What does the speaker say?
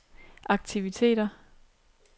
aktiviteter